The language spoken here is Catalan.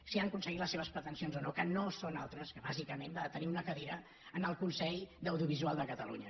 si han aconseguit les seves pretensions o no que no són altres que bàsicament la de tenir una cadira en el consell de l’audiovisual de catalunya